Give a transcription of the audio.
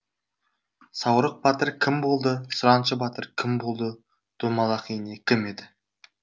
саурық батыр кім болды сұраншы батыр кім болды домалақ ене кім еді